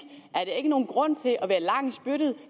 er der ikke nogen grund til at være lang i spyttet